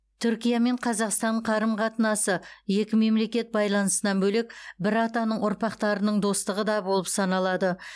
түркия мен қазақстан қарым қатынасы екі мемлекет байланысынан бөлек бір атаның ұрпақтарының достығы да болып саналады